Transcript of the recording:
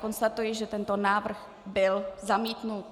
Konstatuji, že tento návrh byl zamítnut.